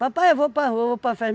Papai, eu vou para rua, para festa.